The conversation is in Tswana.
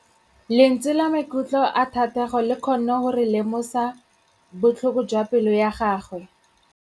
Lentswe la maikutlo a Thategô le kgonne gore re lemosa botlhoko jwa pelô ya gagwe.